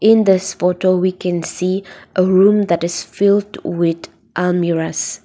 in this photo we can see a room that is filled with a mirrors.